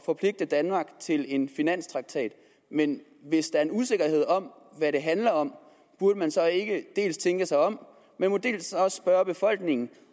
forpligte danmark til en finanstraktat men hvis der er usikkerhed om hvad det handler om burde man så ikke dels tænke sig om dels spørge befolkningen